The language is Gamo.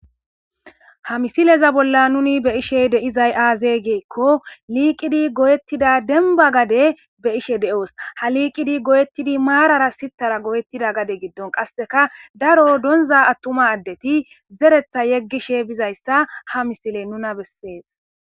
Ha misileza bolla nuni be ishe deizay aaze geekko liiqidi goyettida denba gade be ishe de'oos ha liiqidi goyettidi maarara sitara goyettida gade giddon qasseka daro donza attuma addeti zeretha yeggishe bizayssa ha misile nuna beses